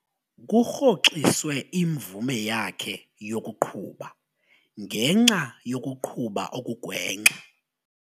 Kurhoxiswe imvume yakhe yokuqhuba ngenxa yokuqhuba okugwenxa.